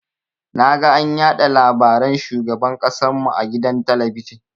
Naga an yaɗa labaran shugaban ƙasan mu a gidan talabijin.